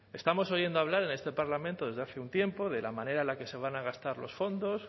estamos oyendo hablar en este parlamento desde hace un tiempo de la manera en la que se van a gastar los fondos